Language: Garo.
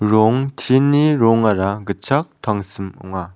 rong tin ni rongara gitchak tangsim ong·a.